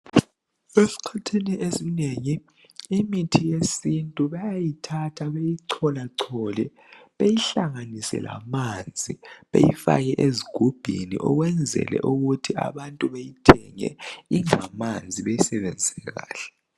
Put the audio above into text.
Esikhathini esinengi imithi yesintu bayayithatha beyicholachole beyihlanganise lamanzi beyifake ezigubhini ukwenzele ukuthi abantu beyithenge ingamanzi beyisebenzise kahle.